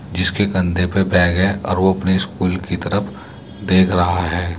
जिसके कंधे पे बैग है और वो अपने स्कूल की तरफ देख रहा है।